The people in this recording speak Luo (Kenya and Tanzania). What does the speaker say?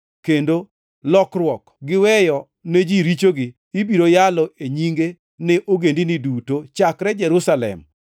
kendo lokruok gi weyo ne ji richogi ibiro yalo e nyinge ne ogendini duto, chakre Jerusalem.